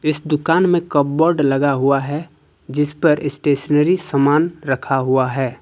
इस दुकान में कपबर्ड लगा हुआ है जिस पर स्टेशनरी सामान रखा हुआ है।